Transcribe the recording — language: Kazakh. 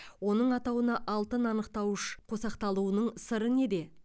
оның атауына алтын анықтауышы қосақталуының сыры неде